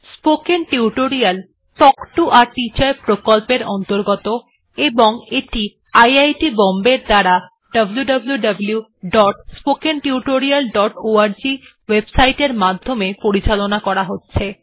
spoken tutorial talk to a teacher প্রকল্পের অন্তর্গত এবং এটি আইআইটি বম্বে এর দ্বারা wwwspoken tutorialorg ওএবসাইট এর মাধ্যমে পরিচালনা করা হচ্ছে